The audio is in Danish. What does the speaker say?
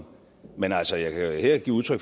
men altså jeg kan her give udtryk